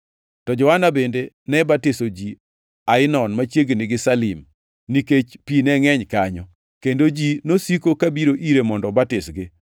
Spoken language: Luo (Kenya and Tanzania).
To Johana bende ne batiso ji Ainon machiegni gi Salim, nikech pi ne ngʼeny kanyo, kendo ji nosiko ka biro ire mondo obatisgi.